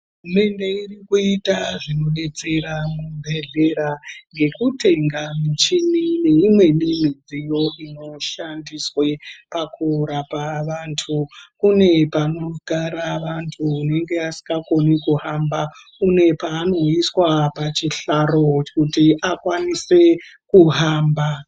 Hurumende irikuta zvinodetsera muzvibhehleya nekutenga muchini neimweni mudziyo inoshandiswa pakurapa vandu kune panogara vandu vange vasingakoni kuhamba une paanoiswa pachihlaro kuti akwanise kuhamba .